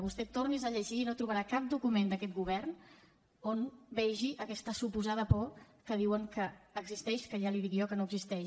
vostè torni’s ho a llegir i no trobarà cap document d’aquest govern on vegi aquesta suposada por que diuen que existeix que ja li ho dic jo que no existeix